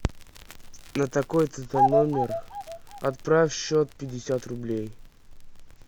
на такой то то номер отправь счет пятьдесят рублей